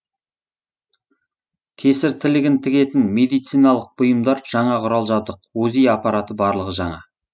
кесір тілігін тігетін медициналық бұйымдар жаңа құрал жадбық узи апараты барлығы жаңа